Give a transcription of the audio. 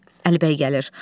Əlibəy gəlir.